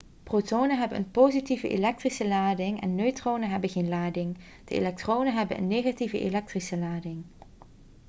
protonen hebben een positieve elektrische lading en neutronen hebben geen lading de elektronen hebben een negatieve elektrische lading